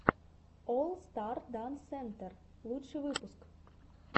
олл старс данс сентер лучший выпуск